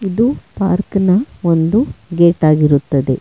ಇದು ಪಾರ್ಕ್ನ ಒಂದು ಗೇಟ್ ಆಗಿರುತ್ತದೆ.